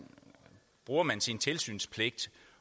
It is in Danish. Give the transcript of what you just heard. bruger man sin tilsynspligt